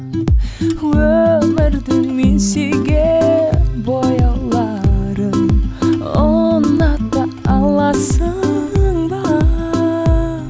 өмірдің мен сүйген бояуларын ұната аласың ба